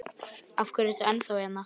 Róbjörg, hvernig er dagskráin?